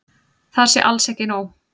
Það sé alls ekki nóg.